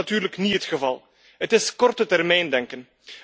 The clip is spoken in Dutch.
Dat is natuurlijk niet het geval. Het is kortetermijndenken.